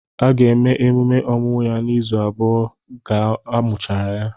A ga-eme emume ọmụmụ ya na izu abụọ ka amuchara ya